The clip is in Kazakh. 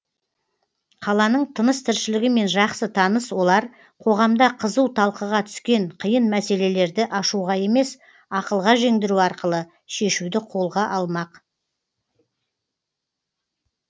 қаланың тыныс тіршілігімен жақсы таныс олар қоғамда қызу талқыға түскен қиын мәселелерді ашуға емес ақылға жеңдіру арқылы шешуді қолға алмақ